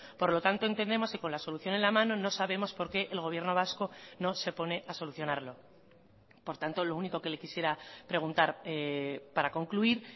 por lo tanto entendemos que con la solución en la mano no sabemos por qué el gobierno vasco no se pone a solucionarlo por tanto lo único que le quisiera preguntar para concluir